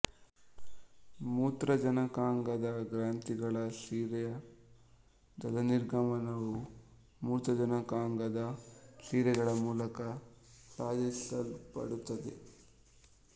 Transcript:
ಮೂತ್ರಜನಕಾಂಗದ ಗ್ರಂಥಿಗಳ ಸಿರೆಯ ಜಲನಿರ್ಗಮನವು ಮೂತ್ರಜನಕಾಂಗದ ಸಿರೆಗಳ ಮೂಲಕ ಸಾಧಿಸಲ್ಪಡುತ್ತದೆ